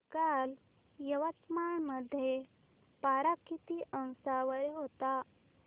काल यवतमाळ मध्ये पारा किती अंशावर होता